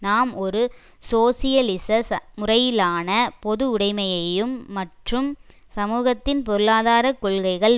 நாம் ஒரு சோசியலிச முறையிலான பொது உடைமையையும் மற்றும் சமூகத்தின் பொருளாதார கொள்கைகள்